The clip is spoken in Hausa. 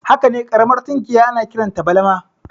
Hakane ƙaramar tunkiya ana kiranta balama